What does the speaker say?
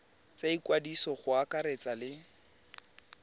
tsa ikwadiso go akaretsa le